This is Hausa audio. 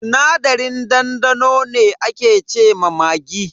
Sinadarin dandano ne ake ce ma maggi.